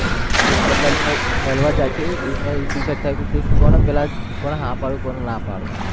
પોપટલાલ મળવા જાય છે એમાં એવું decide થાય છે કે કોને પેલા, કોને હા પાડું કોને ના પાડું